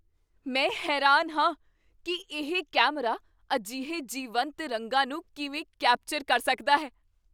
ਮੈਂ ਹੈਰਾਨ ਹਾਂ ਕੀ ਇਹ ਕੈਮਰਾ ਅਜਿਹੇ ਜੀਵੰਤ ਰੰਗਾਂ ਨੂੰ ਕਿਵੇਂ ਕੈਪਚਰ ਕਰ ਸਕਦਾ ਹੈ!